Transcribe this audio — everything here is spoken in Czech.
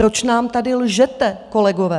Proč nám tady lžete, kolegové?